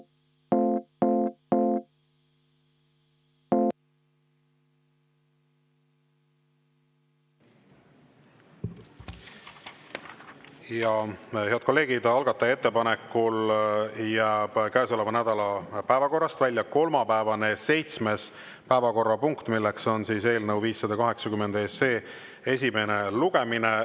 Ja head kolleegid, algataja ettepanekul jääb käesoleva nädala päevakorrast välja kolmapäevane seitsmes päevakorrapunkt, milleks on eelnõu 580 esimene lugemine.